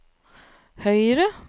høyre